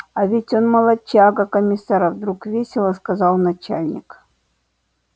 а ведь он молодчага комиссар вдруг весело сказал начальник